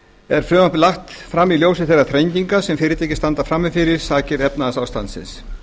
er frumvarpið lagt fram í ljósi þeirra þrenginga sem fyrirtæki standa frammi fyrir sakir efnahagsástandsins